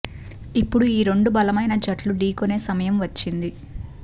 ఇక ఇప్పుడు ఈ రెండు బలమైన జట్లు డీకొనే సమయం వచ్చింది